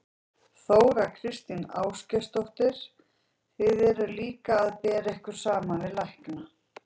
Þóra Kristín Ásgeirsdóttir: Þið eruð líka að bera ykkur saman við lækna?